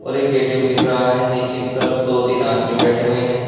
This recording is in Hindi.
और एक ए_टी_एम दिख रहा है नीचे की तरफ दो तीन आदमी बैठे हुए हैं।